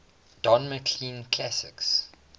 don mclean classics